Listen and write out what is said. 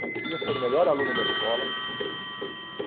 Não precisa ser o melhor aluno da escola.